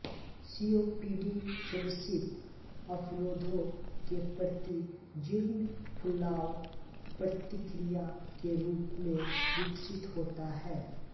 COPD श्वसित अवरोधों के प्रति जीर्ण फुलाव प्रतिक्रिया के रूप में विकसित होता है